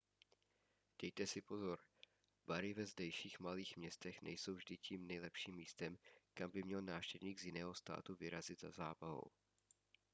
dejte si pozor bary ve zdejších malých městech nejsou vždy tím nejlepším místem kam by měl návštěvník z jiného státu vyrazit za zábavou